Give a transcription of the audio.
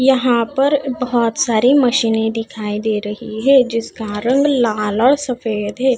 यहाँ पर बहोत सारी मशीनें दिखाई दे रहीं हैं जिसका रंग लाल और सफेद हैं।